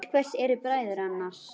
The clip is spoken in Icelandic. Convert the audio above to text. Til hvers eru bræður annars?